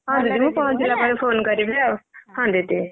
phone କରିବି ଆଉ ହଁ ଦିଦି।